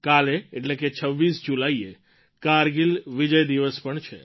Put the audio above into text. કાલે એટલે કે ૨૬ જુલાઈએ કારગિલ વિજય દિવસ પણ છે